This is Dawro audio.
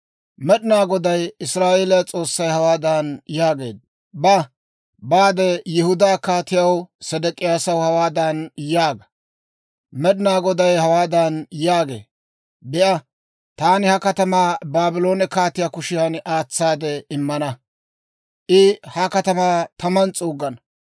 Med'inaa Goday Israa'eeliyaa S'oossay hawaadan yaageedda; «Ba; baade Yihudaa Kaatiyaa Sedek'iyaasa hawaadan yaaga; Med'inaa Goday hawaadan yaagee; ‹Be'a, taani ha katamaa Baabloone kaatiyaa kushiyan aatsaade immana; I ha katamaa taman s'uuggana.